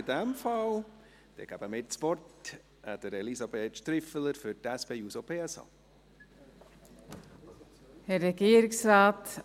In dem Fall gebe ich das Wort Elisabeth Striffeler für die SP-JUSO-PSA.